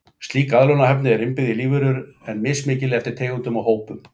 Slík aðlögunarhæfni er innbyggð í lífverur, en mismikil eftir tegundum og hópum.